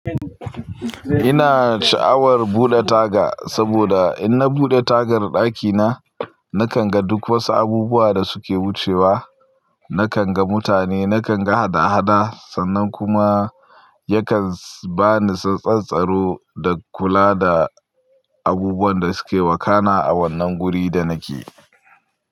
Ina sha'awar buɗe taga, saboda in na buɗe tagar ɗakina, na kan ga duk wasu abubuwa da suke wucewa. Na kan ga mutane, na kan ga hada-hada, sannan kuma yakan bani tsantsaro da kula da abubuwan da suke wakana a wannan guri da nake.